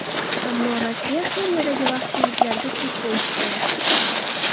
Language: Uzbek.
Ammo Rossiya Suriyadagi vahshiyliklariga chek qo‘yishi kerak”.